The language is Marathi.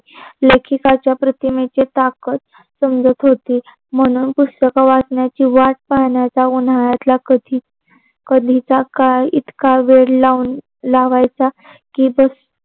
लेखकाच्या प्रतिमेच ताकत समजत होती. म्हणून पुस्तक वाचण्याच वाट पाहण्याच्या उन्हाळ्यात कधी कधीच्याकाळ इतका वेळ लाऊन लावायचा.